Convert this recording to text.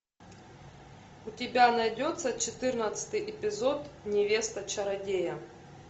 у тебя найдется четырнадцатый эпизод невеста чародея